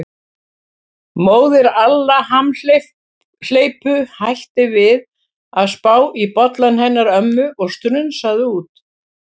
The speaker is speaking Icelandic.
Móðir Alla hamhleypu hætti við að spá í bollann hennar ömmu og strunsaði út.